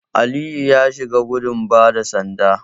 Aliyu ya shiga gudun bada sanda.